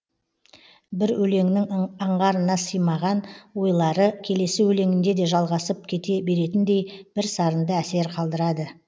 бір өлеңнің аңғарына сыймаған ойлары келесі өлеңінде де жалғасып кете беретіндей бірсарынды әсер қалдырады